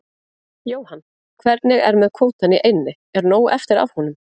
Jóhann: Hvernig er með kvótann í eynni, er nóg eftir af honum?